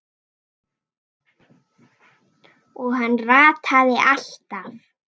Og hann rataði alltaf.